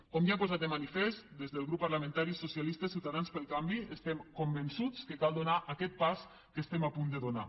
com ja he posat de manifest des del grup parlamentari socialistes ciutadans pel canvi estem convençuts que cal donar aquest pas que estem a punt de donar